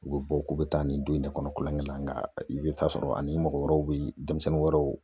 U bɛ bɔ k'u bɛ taa nin don in ne kɔnɔ kolonkɛ la nka i bɛ taa sɔrɔ ani mɔgɔ wɛrɛw bɛ denmisɛnnin wɛrɛw